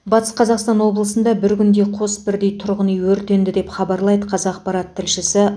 батыс қазақстан облысында бір күнде қос бірдей тұрғын үй өртенді деп хабарлайды қазақпарат тілшісі